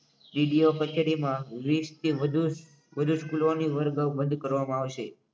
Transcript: DDO કચેરીમાં વિસ થી વધુ વધુ સ્કૂલોની વર્ગ બંધ કરવામાં આવશે